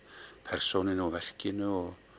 persónunni og verkinu